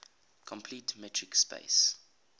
complete metric space